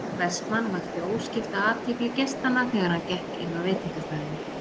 Vestmann vakti óskipta athygli gestanna þegar hann gekk inn á veitingastaðinn.